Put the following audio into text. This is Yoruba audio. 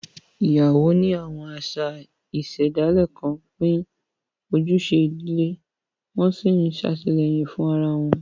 Ìyàwó ní àwọn àṣà ìṣẹ̀dálẹ̀ kan pín ojúṣe ìdílé, wọ́n sì ń ṣètìlẹ́yìn fún ara wọn.